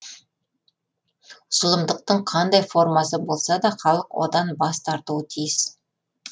зұлымдықтың қандай формасы болса да халық одан бас тартуы тиіс